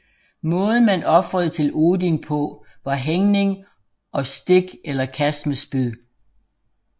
Måden man ofrede til Odin på var hængning og stik eller kast med spyd